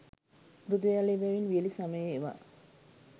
මෘදු ජලය බැවින් වියළි සමයේ ඒවා